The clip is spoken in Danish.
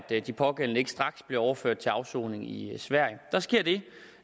de pågældende ikke straks blev overført til afsoning i sverige der sker det